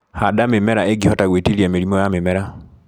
Handa mĩmera ĩngihota gwĩtiria mĩrimũ ya mĩmera.